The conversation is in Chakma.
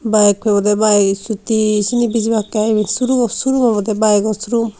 baek pebwdey baek issuti sini bijibakkey I surungo surung awbwdey baek o surum.